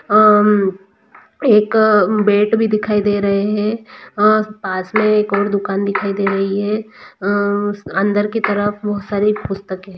एक बैट भी दिखाई दे रहे है और पास मे एक ओर दुकान भी दिखाई दे रही है अंदर की तरफ बहुत सारी पुस्तके ।